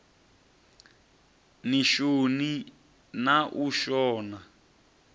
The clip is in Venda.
ni shoni na u shona